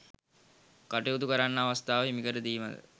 කටයුතු කරන්න අවස්ථාව හිමිකර දීම ද